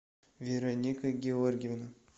вероника георгиевна